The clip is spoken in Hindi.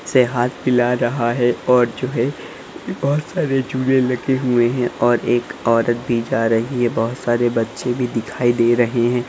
से हाथ मिला रहा है और जो है बहोत सारे झूले लगे हुए हैं और एक औरत भी जा रही है बहोत सारे बच्चे भी दिखाई दे रहे हैं।